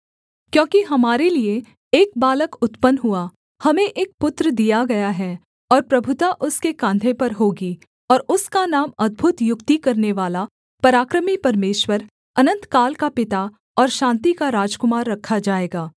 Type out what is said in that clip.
क्योंकि हमारे लिये एक बालक उत्पन्न हुआ हमें एक पुत्र दिया गया है और प्रभुता उसके काँधे पर होगी और उसका नाम अद्भुत युक्ति करनेवाला पराक्रमी परमेश्वर अनन्तकाल का पिता और शान्ति का राजकुमार रखा जाएगा